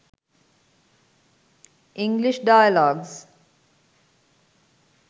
english dialogues